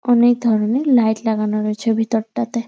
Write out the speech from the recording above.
অনেক ধরণের লাইট লাগানো রয়েছে ভিতর টা তে।